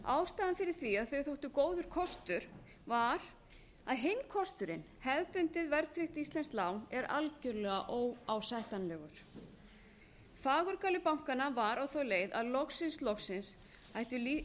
ástæðan fyrir því að þau þóttu góður kostur var að hinn kosturinn hefðbundið verðtryggt íslenskt lán er algjörlega óásættanlegur fagurgali bankanna var á þá leið að loksins loksins ættu